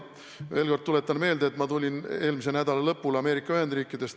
Veel kord tuletan meelde, et ma tulin eelmise nädala lõpul Ameerika Ühendriikidest.